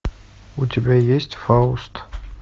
у тебя есть фауст